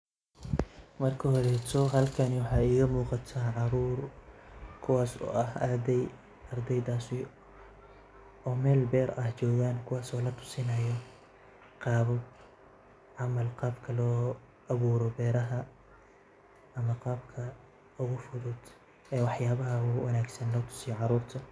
Marka hore halkan waxaa iiga muuqataa caruur kuwaas oo ah ardeey, ardeeydaas oo meel beer ah joogan kuwaas oo latusinaayo qaabab ama qaabka loo abuuro beerta ama qabka ugu fudud ee wax yaabaha wanagsan latuso caruurta.